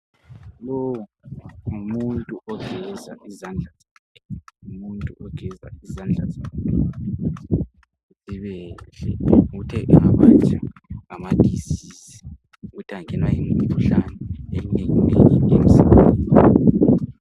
Umuntu lowu ngumuntu ogeza izandla zakhe ukuthi engabanjwa yimikhuhlane eminengi emzimbeni.